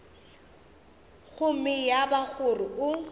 gomme ya ba gore o